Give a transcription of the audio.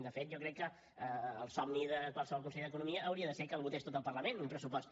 de fet jo crec que el somni de qualsevol conseller d’economia hauria de ser que el votés tot el parlament un pressupost